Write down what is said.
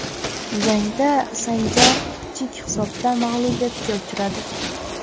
Jangda Sanjar kichik hisobda mag‘lubiyatga uchradi.